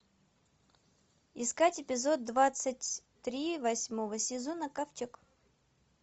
искать эпизод двадцать три восьмого сезона ковчег